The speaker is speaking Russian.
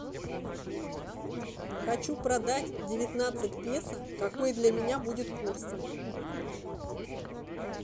хочу продать девятнадцать песо какой для меня будет курс